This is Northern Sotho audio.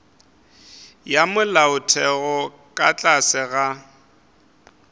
ya molaotheo ka tlase ga